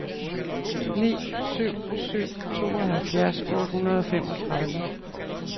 ni syv syv to halvfjerds otte hundrede og femogtredive